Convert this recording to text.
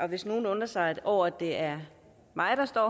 hvis nogen undrer sig over at det er mig der står